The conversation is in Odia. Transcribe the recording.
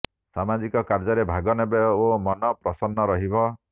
ସାମାଜିକ କାର୍ଯ୍ୟରେ ଭାଗ ନେବେ ଓ ମନ ପ୍ରସନ୍ନ ରହିବ